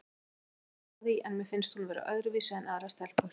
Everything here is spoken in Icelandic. Ég get ekki gert að því en mér finnst hún vera öðruvísi en aðrar stelpur.